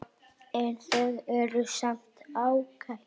En þau eru samt ágæt.